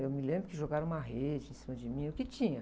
Eu me lembro que jogaram uma rede em cima de mim, o que tinha.